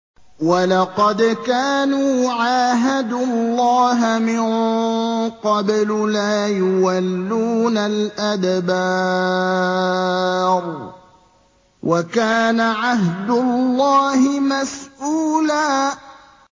وَلَقَدْ كَانُوا عَاهَدُوا اللَّهَ مِن قَبْلُ لَا يُوَلُّونَ الْأَدْبَارَ ۚ وَكَانَ عَهْدُ اللَّهِ مَسْئُولًا